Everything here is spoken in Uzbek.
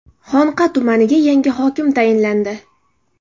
Xonqa tumaniga yangi hokim tayinlandi.